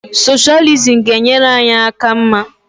Soshalizim ga-enyere anyị aka mma